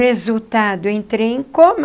Resultado, eu entrei em coma.